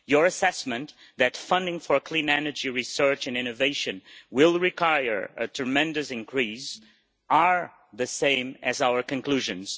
Your assessment that funding for clean energy research and innovation will require a tremendous increase are the same as our conclusions.